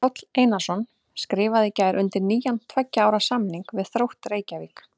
Páll Einarsson skrifaði í gær undir nýjan tveggja ára samning við Þrótt Reykjavík.